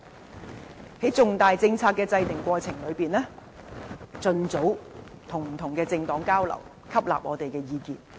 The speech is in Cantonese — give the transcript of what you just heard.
在制訂重大政策的過程中，盡早與不同政黨交流，吸納我們的意見。